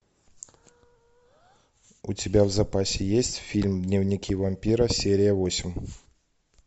у тебя в запасе есть фильм дневники вампира серия восемь